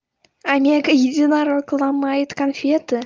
омега единорог ломает конфеты